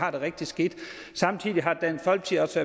har det rigtig skidt samtidig har dansk folkeparti